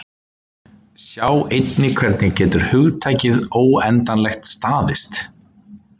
Sjá einnig: Hvernig getur hugtakið óendanlegt staðist?